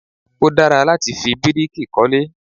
Ó dára láti fi bíríkì kọ́lé